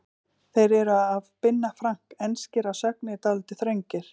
Þeir eru af Binna Frank, enskir að sögn en dálítið þröngir.